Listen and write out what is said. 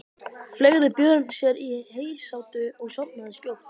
Fleygði Björn sér í heysátu og sofnaði skjótt.